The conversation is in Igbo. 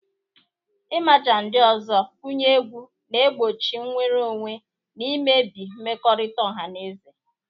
Ịmaja ndị ọzọ kụnye egwu, na-egbochi nnwere onwe, na imebi mmekọrịta ọha na eze.